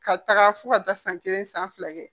Ka taga fo ka taa san kelen san fila kɛ